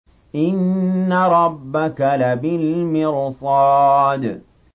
إِنَّ رَبَّكَ لَبِالْمِرْصَادِ